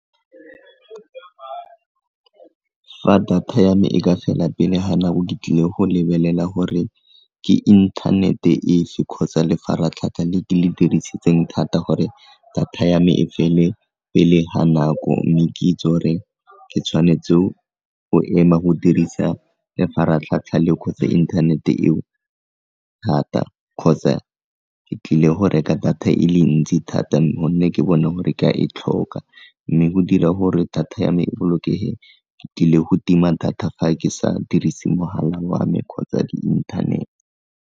Fa data ya me e ka fela pele ga nako ke tlile go lebelela gore ke inthanete efe kgotsa lefaratlhatlha le ke le dirisitseng thata gore data ya me e fele pele ga nako mme ke itse gore ke tshwanetse go ema go dirisa lefaratlhatlha internet eo thata kgotsa ke tlile go reka data e le ntsi thata gonne ke bona gore ka e tlhoka mme go dira gore data ya me e bolokege ke tlile go tima data fa ke sa dirise mogala wa me kgotsa di-internet.